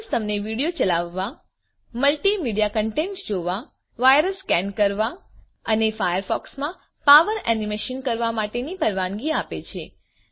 plugins તમને video ચલાવવા multimedia content જોવા વાયરસ સ્કેન કરવા અને ફાયરફોક્સ માં પાવર એનિમેશન કરવા માટેની પરવાનગી આપે છે